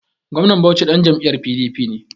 Gwamnan Bauchi ɗan jam'iyyar PDP ne.